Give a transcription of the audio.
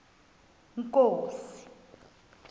inkosi